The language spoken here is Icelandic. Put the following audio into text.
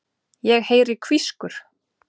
Ég heyri hvískur.